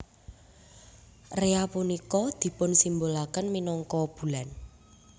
Rea punika dipunsimbolaken minangka bulan